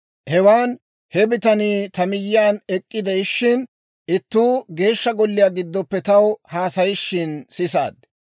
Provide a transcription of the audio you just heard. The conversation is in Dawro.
Hewan he bitanii ta miyyiyaan ek'k'ide'ishshin, ittuu Geeshsha Golliyaa giddoppe taw haasayishin sisaad.